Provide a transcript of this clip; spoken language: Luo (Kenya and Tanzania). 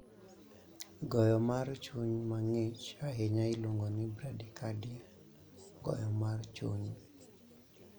Goyo mar chuny ma ng'ich ahinya iluongo ni bradycardia (goyo mar chuny).